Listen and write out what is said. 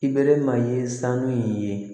I bɛɛrɛ ma ye sanu in ye